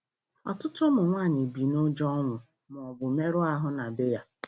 Ọtụtụ ụmụ nwaanyị bi nụjọ ọnwụ maọbụ mmerụ ahụ na bee ya